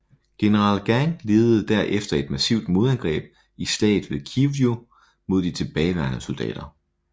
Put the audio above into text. General Gang ledede der efter et massivt modangreb i Slaget ved Kwiju mod de tilbageværende soldater